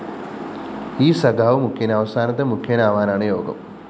ഈ സഖാവ് മുഖ്യന് അവസാനത്തെ മുഖ്യനാവാനാണ് യോഗം!